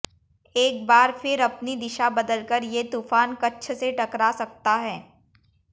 एक बार फिर अपनी दिशा बदलकर ये तूफ़ान कच्छ से टकरा सकता है